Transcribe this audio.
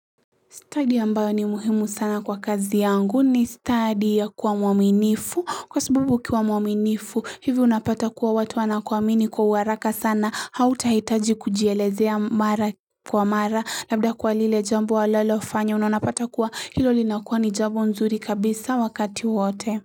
Stadi ambayo ni muhimu sana kwa kazi yangu ni stadi ya kuwa mwaminifu kwa sababu ukiwa mwaminifu hivi unapata kuwa watu wanakuwaamini kwa uharaka sana hautahitaji kujielezea mara kwa mara labda kwa lile jambo ulilolifanya unapata kuwa hilo linakuwa ni jambo nzuri kabisa wakati wote.